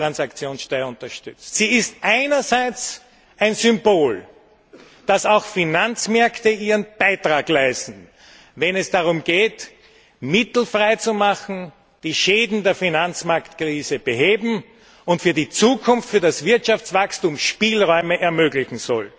Die Finanztransaktionssteuer ist einerseits ein Symbol dafür, dass auch Finanzmärkte ihren Beitrag leisten, wenn es darum geht, Mittel frei zu machen, die Schäden der Finanzmarktkrise zu beheben und für die Zukunft für das Wirtschaftswachstum Spielräume zu ermöglichen.